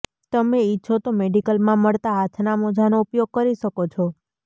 તમે ઈચ્છો તો મેડીકલમાં મળતા હાથના મોજાનો ઉપયોગ કરી શકો છો